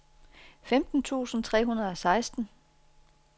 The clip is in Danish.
femten tusind tre hundrede og seksten